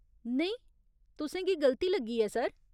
नेईं, तुसें गी गलती लग्गी ऐ, सर।